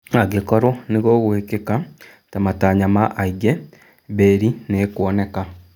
Angĩkorwo nĩ gũgũĩkika ta matanya ma aingĩ, mbĩri nĩ ikuoneka.